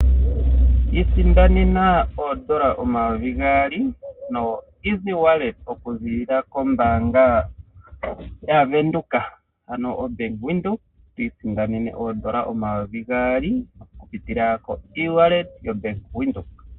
Isindanena oondola omayovi gaali okupitila kongodhi okuziilila kombaanga yaWindhoek ano oBank Windhoek twiisandenene oondola omayovi gaali okupitila kongodhi okuziilila koBank Windhoek.